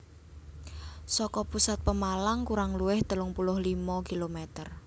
Saka pusat Pemalang kurang luwih telung puluh limo kilometer